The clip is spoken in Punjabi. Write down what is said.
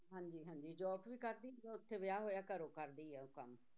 ਹਾਂਜੀ ਹਾਂਜੀ job ਵੀ ਕਰਦੀ ਉੱਥੇ ਵਿਆਹ ਹੋਇਆ ਘਰੋਂ ਕਰਦੀ ਹੈ ਉਹ ਕੰਮ।